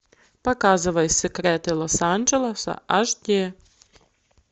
показывай секреты лос анджелеса аш ди